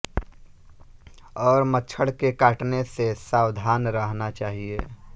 और मच्छर के काटने से सावधान रहना चाहिए